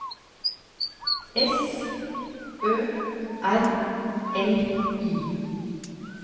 S Ø R L I